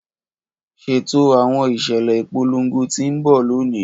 Ṣeto awọn iṣẹlẹ ipolongo ti n bọ loni!